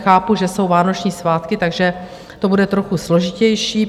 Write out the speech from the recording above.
Chápu, že jsou vánoční svátky, takže to bude trochu složitější.